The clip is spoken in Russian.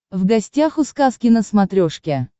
в гостях у сказки на смотрешке